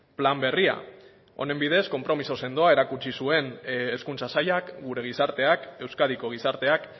plan berria honen bidez konpromiso sendoa erakutsi zuen hezkuntza sailak gure gizarteak euskadiko gizarteak